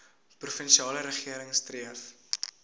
provinsiale regering streef